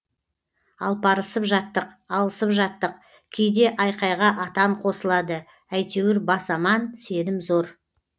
алпарысып жаттық алысып жаттық кейде айқайға атан қосылады әйтеуір бас аман сенім зор